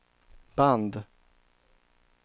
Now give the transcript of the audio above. band